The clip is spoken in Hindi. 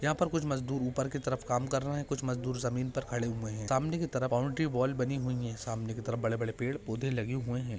यहाँ पर कुछ मजदूर ऊपर की तरफ काम कर रहे है कुछ मजदूर जमीन पर खड़े हुए है सामने की तरफ बाउंड्री वॉल बनी हुई है सामने की तरफ़ बड़े बड़े पेड़ पोधे लगे हुए है।